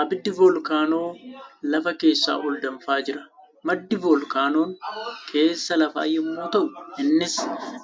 Abiddi voolkaanoo lafa keessaa ol danfaa jira. Maddi voolkaanoon keessa lafaa yemmuu ta'u innis